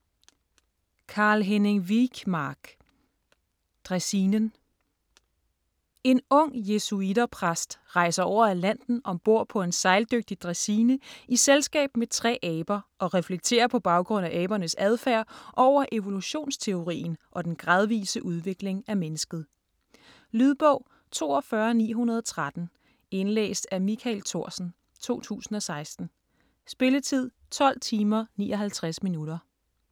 Wijkmark, Carl-Henning: Dræsinen En ung jesuitter-præst rejser over Atlanten ombord på en sejldygtig dræsine i selskab med tre aber, og reflekterer på baggrund af abernes adfærd over evolutionsteorien og den gradvise udvikling af mennesket. Lydbog 42913 Indlæst af Michael Thorsen, 2016. Spilletid: 12 timer, 59 minutter.